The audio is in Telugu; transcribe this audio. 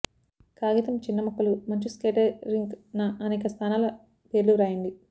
కాగితం చిన్న ముక్కలు మంచు స్కేటింగ్ రింక్ న అనేక స్థానాల పేర్లు వ్రాయండి